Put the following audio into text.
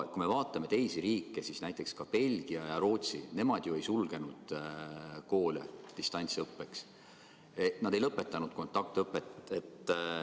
Kui me vaatame teisi riike, siis näiteks Belgia ja Rootsi ei ole viinud koole distantsõppele, nad ei ole lõpetanud kontaktõpet.